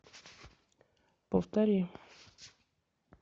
повтори